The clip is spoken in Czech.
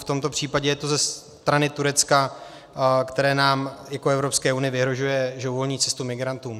V tomto případě je to ze strany Turecka, které nám jako Evropské unii vyhrožuje, že uvolňuje cestu migrantům.